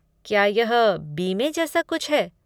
क्या यह बीमे जैसा कुछ है?